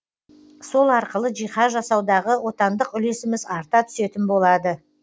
сол арқылы жиһаз жасаудағы отандық үлесіміз арта түсетін болады